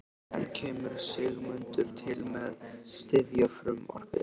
En kemur Sigmundur til með að styðja frumvarpið?